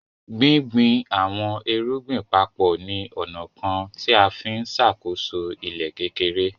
Gbìngbìn awọn èrùgbìn papọ ni onà kan nià ǹfi ǹṣákóso ilẹ̀ kékèrè.